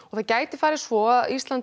það gæti farið svo að Ísland